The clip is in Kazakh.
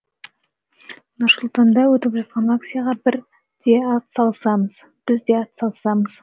нұр сұлтанда өтіп жатқан акцияға біз де ат салысамыз